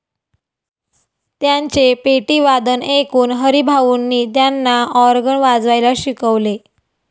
त्यांचे पेटीवादन ऐकून हरिभाऊंनी त्यांना ऑर्गन वाजवायला शिकवले.